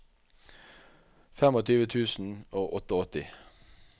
tjuefem tusen og åttiåtte